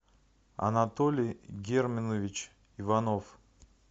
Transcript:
анатолий германович иванов